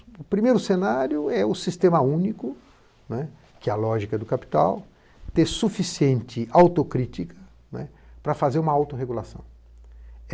O primeiro cenário é o sistema único, que é a lógica do capital, ter suficiente autocrítica para fazer uma autorregulação.